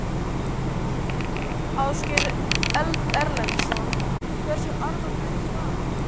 Ásgeir Erlendsson: Hversu alvarleg er staðan?